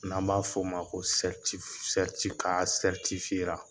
N'an b'a f'ɔ ma ko